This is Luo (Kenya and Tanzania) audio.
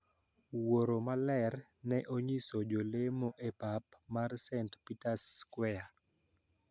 Wuoro maler ne onyiso jolemo e pap mar st. Peters Square